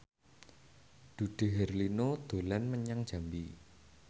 Dude Herlino dolan menyang Jambi